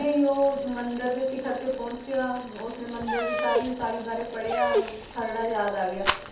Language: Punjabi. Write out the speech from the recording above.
ਹੀ ਉਹ ਮੰਦਿਰ ਦੇ ਸਿਖ਼ਰ ਤੇ ਪਹੁੰਚਿਆ ਉਸਨੇ ਮੰਦਿਰ ਦੀ ਸਾਰੀ ਉਸਾਰੀ ਬਾਰੇ ਪੜ੍ਹਿਆ, ਖ਼ਰੜਾ ਯਾਦ ਆ ਗਿਆ,